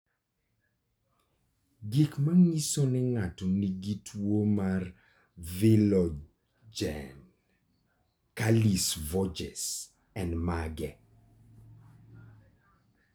Gik manyiso ni ng'ato nigi tuwo mar Viljoen Kallis Voges en mage?